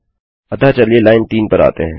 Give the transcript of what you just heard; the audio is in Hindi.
अतः चलिए लाइन 3 पर आते हैं